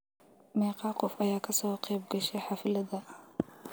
Meqaa qof aya kasoqebgashe hafladha.